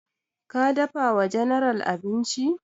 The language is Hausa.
Ka dafa wa general abinci?